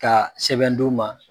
Ka sɛbɛn d'u ma